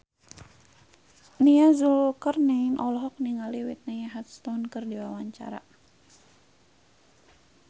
Nia Zulkarnaen olohok ningali Whitney Houston keur diwawancara